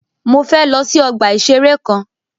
Mọ fẹ lọ sí ọgbà ìṣẹ̀rẹ́ kan.